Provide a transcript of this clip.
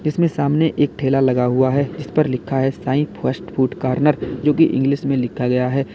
इसमें सामने एक ठेला लगा हुआ है जिस पर लिखा है साइ फास्ट फूड कॉर्नर जो की इंग्लिश में लिखा गया है।